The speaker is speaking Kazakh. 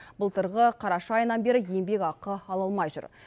былтырғы қараша айынан бері еңбекақы ала алмай жүр